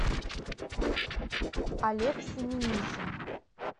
олег семенихин